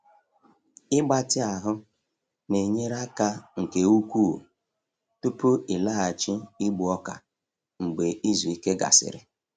Ịgbatị ahụ na-enyere aka nke ukwuu tupu ịlaghachi igbu ọka mgbe izu ike gasịrị.